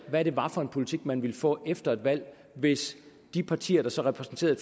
hvad det var for en politik man ville få efter et valg hvis de partier der så repræsenterede